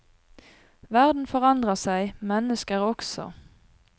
Verden forandrer seg, mennesker også.